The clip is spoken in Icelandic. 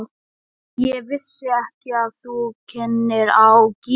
Ég vissi ekki að þú kynnir á gítar.